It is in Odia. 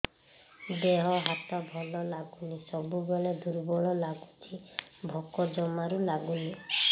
ଦେହ ହାତ ଭଲ ଲାଗୁନି ସବୁବେଳେ ଦୁର୍ବଳ ଲାଗୁଛି ଭୋକ ଜମାରୁ ଲାଗୁନି